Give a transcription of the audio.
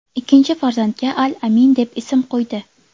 Ikkinchi farzandga al-Amin deb ism qo‘ydi.